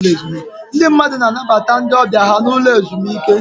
Ndị mmadụ na-anabata ndị ọbịa ha n'ụlọ ezumike.